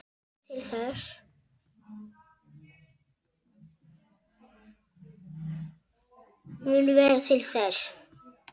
Aðrir munu verða til þess.